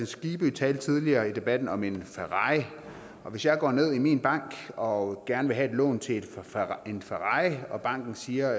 skibby talte tidligere i debatten om en ferrari og hvis jeg går ned i min bank og gerne vil have et lån til en ferrari og banken siger